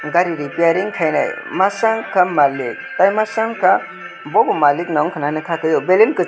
gari repairing khainai masa unka malik tai masa unka bo bw malik nw unka na ka tai o belein--